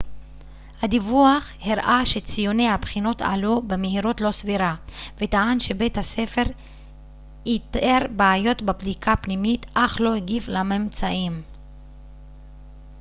הדיווח הראה שציוני הבחינות עלו במהירות לא סבירה וטען שבית הספר איתר בעיות בבדיקה פנימית אך לא הגיב לממצאים